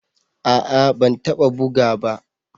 A'a ban taba buga ba.